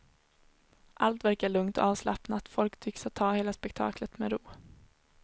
Allt verkar lugnt och avslappnat, folk tycks ta hela spekaklet med ro.